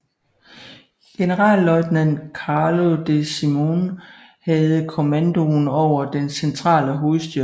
Generalløjtnant Carlo De Simone havde kommandoen over den centrale hovedstyrke